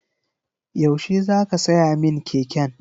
Yaushe za ka siya min keken?